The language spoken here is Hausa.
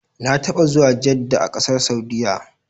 Na taɓa zuwa Jedda a ƙasar Saudiyya.